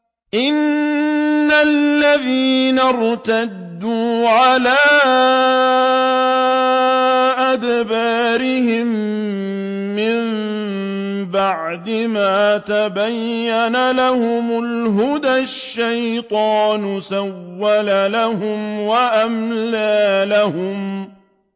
إِنَّ الَّذِينَ ارْتَدُّوا عَلَىٰ أَدْبَارِهِم مِّن بَعْدِ مَا تَبَيَّنَ لَهُمُ الْهُدَى ۙ الشَّيْطَانُ سَوَّلَ لَهُمْ وَأَمْلَىٰ لَهُمْ